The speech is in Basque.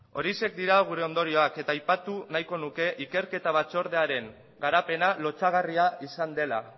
horiexek dira gure ondorioak eta aipatu nahiko nuke ikerketa batzordearen garapena lotsagarria izan dela